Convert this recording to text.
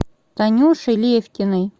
танюшей левкиной